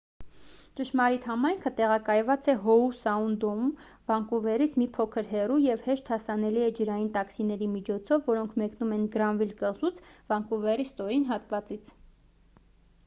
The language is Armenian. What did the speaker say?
ճշմարիտ համայնքը տեղակայված է հոու սաունդում վանկուվերից մի փոքր հեռու և հեշտ հասանելի է ջրային տաքսիների միջոցով որոնք մեկնում են գրանվիլ կղզուց վանկուվերի ստորին հատվածից